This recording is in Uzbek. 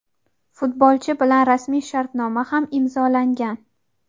Futbolchi bilan rasmiy shartnoma ham imzolangan;.